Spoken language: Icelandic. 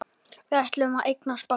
Við ætluðum að eignast barn.